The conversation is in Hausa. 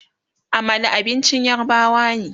Amala abincin yarbawa ne